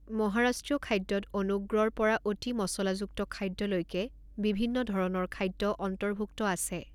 মহাৰাষ্ট্ৰীয় খাদ্যত অনুগ্ৰৰ পৰা অতি মচলাযুক্ত খাদ্যলৈকে বিভিন্ন ধৰণৰ খাদ্য অন্তৰ্ভুক্ত আছে।